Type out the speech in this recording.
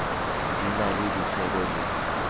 di na le ditsebo le